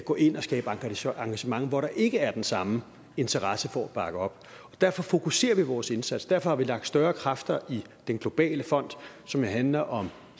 gå ind og skabe engagement engagement hvor der ikke er den samme interesse for at bakke op derfor fokuserer vi vores indsats derfor har vi lagt større kræfter i den globale fond som jo handler om